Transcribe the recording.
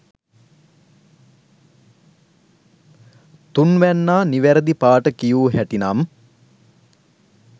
තුන්වැන්නා නිවැරදි පාට කියූ හැටි නම්